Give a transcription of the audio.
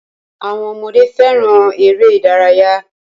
Àwọn ọmọdé fẹràn eré ìdárayá.